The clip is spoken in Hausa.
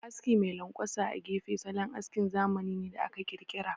Aski mai lanƙwasa a gefe, salon askin zamani ne da aka ƙirƙira.